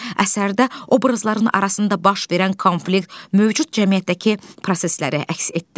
Əsərdə obrazların arasında baş verən konflikt mövcud cəmiyyətdəki prosesləri əks etdirir.